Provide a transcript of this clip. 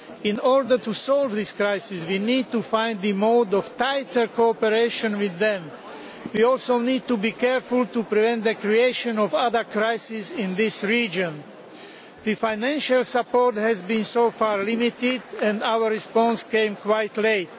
In order to solve this crisis we need to find a mode of tighter cooperation with them. We also need to be careful to prevent the creation of other crises in this region. Financial support has so far been limited and our response came quite late.